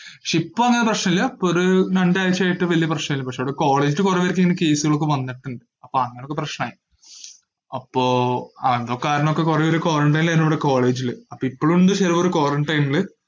~ക്ഷേ ഇപ്പങ്ങനെ പ്രശ്നില്ല, ഇപ്പൊരു രണ്ടാഴ്ചയായിട്ട് വലിയ പ്രശ്നില്ല പക്ഷെ ഇവിടെ quality കൊറവായിരിക്കും ഇങ്ങനെ case കളൊക്കെ വന്നിട്ട് അപ്പൊ അങ്ങനെ അത് പ്രശ്നായി, അപ്പോ അതുകാരണോക്കെ കൊറേപേര് quarantine ഏനു ഇവിടെ college ഇല്, അപ്പൊ ഇപ്പൊഴൊണ്ട് ചെലവര് quarantine ഇല്.